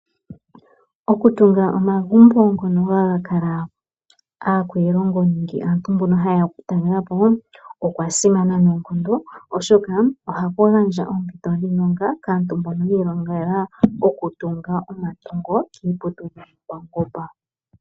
Okutunga omagumbo ngono haga kala aakwiilongo nenge aantu mbono ha yeya , okutalelapo okwasimana noonkondo oshoka ohashi gandja oompito dhiilonga kaantu mbono , yiilongela okutunga omagumbo kiiputudhilo yopaungomba.